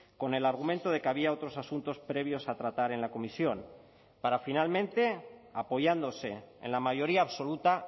con el argumento de que había otros asuntos previos a tratar en la comisión para finalmente apoyándose en la mayoría absoluta